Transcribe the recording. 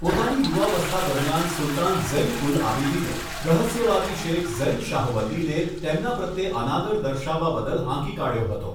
પોતાની યુવાવસ્થા દરમિયાન સુલતાન ઝૈન ઉલ આબિદિને રહસ્યવાદી શેખ ઝૈન શાહવલ્લીને તેમના પ્રત્યે અનાદર દર્શાવવા બદલ હાંકી કાઢ્યો હતો.